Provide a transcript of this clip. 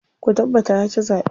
Ku tabbata ya ci zaɓe.